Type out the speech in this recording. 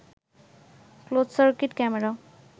closed circuit camera